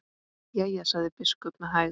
Jæja, sagði biskup með hægð.